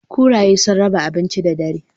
Kuraye sun raba abinci da dare.